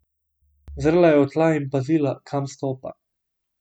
Zrla je v tla in pazila, kam stopa.